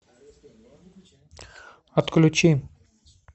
отключи